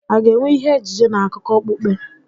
A ga-enwe ihe ejije na akụkọ okpukpe?